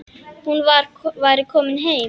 Hún væri komin heim.